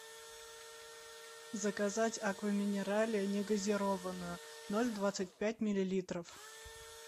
заказать аква минерале не газированную ноль двадцать пять миллилитров